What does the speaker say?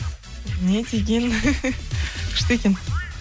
не деген күшті екен